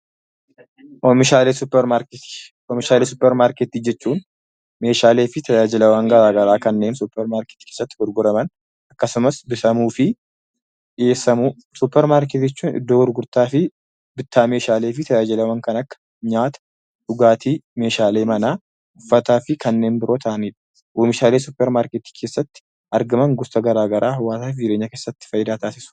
Oomishaalee suuparmaarketii jechuun meeshaalee fi tajaajilawwan garaa garaa kanneen suuparmaarketii keessatti gurguraman akkasumas oomishamuu fi dhiyeessamudha. Suuparmaarketii jechuun iddoo gurgurtaa fi bittaa meeshaalee fi tajaajilawwan kan akka nyaata, dhugaatii, meeshaalee manaa, uffataa fi kanneen biroo ta'anidha. Oomishaalee suuparmaarketii keessatti argaman gosa garaa garaa jireenya keessatti faayidaa taasisu.